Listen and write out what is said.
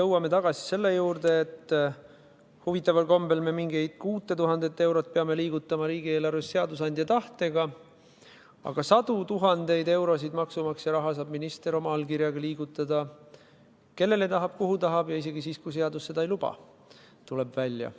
Jõuame tagasi selle juurde, et huvitaval kombel peame mingit 6000 eurot liigutama riigieelarves seadusandja tahtega, aga sadu tuhandeid eurosid maksumaksja raha saab minister liigutada oma allkirjaga – kellele tahab, kuhu tahab ja isegi siis, kui seadus seda ei luba, tuleb välja.